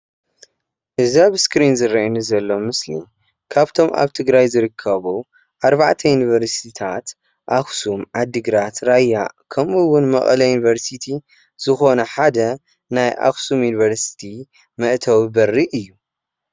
እዚ ኣብ እስክሪን ዝረኣየኒ ዘሎ ምስሊ ካብቶም ኣብ ትግራይ ዝርከቡ ኣርባዕተ ዩኒቨርሲቲታት ኣክሱም፡ዓድግራት፡ራያ ከምኡ እዉን መቐለ ዩኒቨሪሲቲ ዝኾነ ሓደ ናይ ኣክሱም ዩኒቨርሲቲ መእተዊ በሪ እዩ።